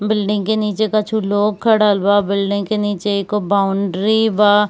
Building के नीचे कछु लोग खड़ल बा बिल्डिंग के नीचे एगो बाउंड्री बा।